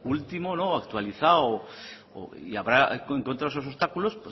último actualizado y habrá encontrado esos obstáculos